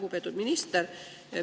Lugupeetud minister!